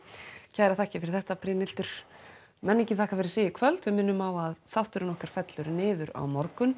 kærar þakkir fyrir þetta Brynhildur menningin þakkar fyrir sig í kvöld við minnum á að þátturinn okkar fellur niður á morgun